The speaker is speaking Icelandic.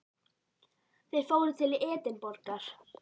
Þeir fóru til Edinborgar.